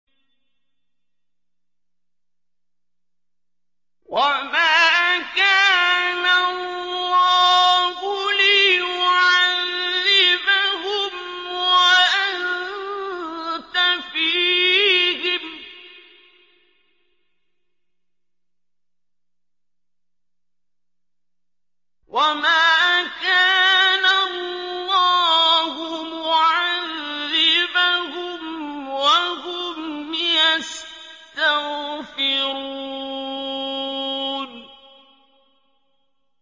وَمَا كَانَ اللَّهُ لِيُعَذِّبَهُمْ وَأَنتَ فِيهِمْ ۚ وَمَا كَانَ اللَّهُ مُعَذِّبَهُمْ وَهُمْ يَسْتَغْفِرُونَ